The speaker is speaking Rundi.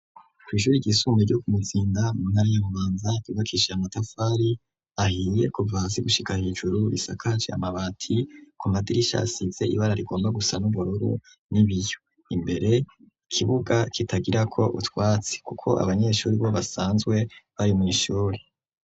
Kwi'ishuri shuri ry'isumbuye ryo ku Muzinda mu ntara ya Bubanza. Ryubakishije amatafari ahiye kuva hasi gushika hejuru .Risakaje amabati ku madirisha asize ibara rigomba gusa n'ubururu n'ibiyo .Imbere ikibuga kitagira ko utwatsi kuko abanyeshuri bo basanzwe bari mwishuri.